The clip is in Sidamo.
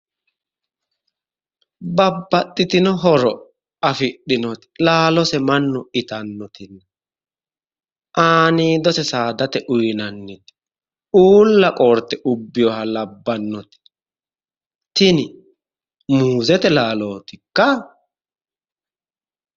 Babbaxxitino horo afidhino laalose mannu itannoti aaniidose saadate uyiinanniti uulla qoorte ubbeyooha labbannoti tini muuzete laalootikka?